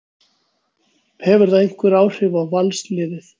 Hefur það einhver áhrif á Valsliðið?